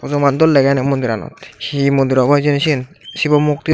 bojoman dol degey eney mondiranot hi mondir obo hijeni siyen sibo mukti.